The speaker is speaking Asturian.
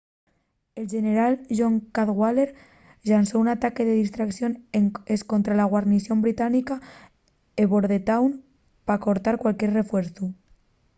el xeneral john cadwalder llanzó un ataque de distracción escontra la guarnición británica en bordentown pa cortar cualquier refuerzu